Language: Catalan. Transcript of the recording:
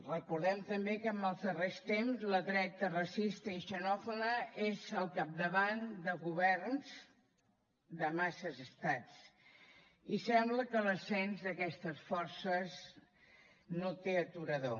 recordem també que en els darrers temps la dreta racista i xenòfoba és al capdavant de governs de massa estats i sembla que l’ascens d’aquestes forces no té aturador